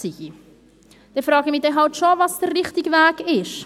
Dann frage ich mich schon, was denn der richtige Weg ist.